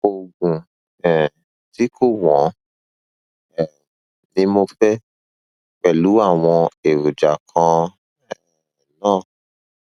oògùn um tí kò wọn um ni mo fẹ pẹlú àwọn èròjà kan um náà